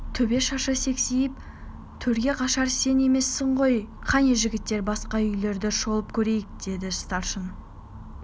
төбе шашы сексиіп төрге қашар сен емессің ғой кәне жігіттер басқа үйлерді шолып көрейік деді старшын